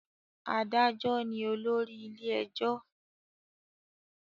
Adájo ní olórí ilé ẹjọ